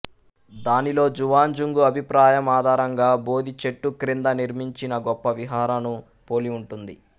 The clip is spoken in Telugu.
దానిలో జువాన్జాంగు అభిప్రాయం ఆధారంగా బోధి చెట్టు క్రింద నిర్మించిన గొప్ప విహార ను పోలి ఉంటుంది